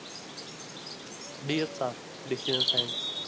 DS चा science